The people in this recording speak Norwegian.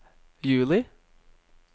juli